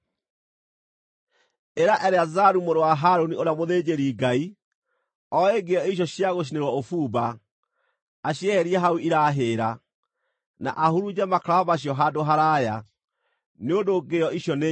“Ĩra Eleazaru mũrũ wa Harũni, ũrĩa mũthĩnjĩri-Ngai, oe ngĩo icio cia gũcinĩrwo ũbumba, acieherie hau irahĩĩra, na ahurunje makara macio handũ haraaya, nĩ ũndũ ngĩo icio nĩ nyamũre,